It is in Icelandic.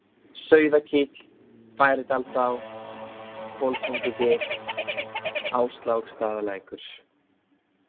Sauðakíll, Færidalsá, Koltungugil, Ásláksstaðalækur